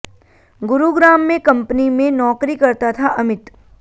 गुरुग्राम में कंपनी में नौकरी करता था अमित